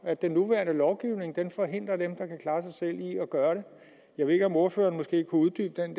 at den nuværende lovgivning forhindrer dem der kan klare sig selv i at gøre det jeg ved ikke om ordføreren kan uddybe den